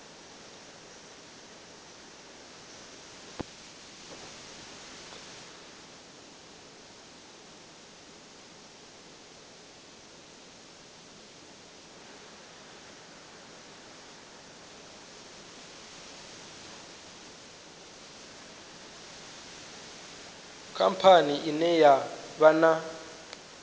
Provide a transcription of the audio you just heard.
khamphani ine ya vha na